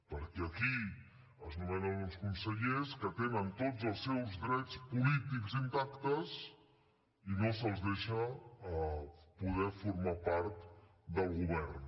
perquè aquí es nomenen uns consellers que tenen tots els seus drets polítics intactes i no se’ls deixa poder formar part del govern